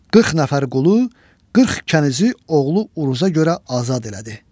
40 nəfər qulu, 40 kənizi oğlu uruza görə azad elədi.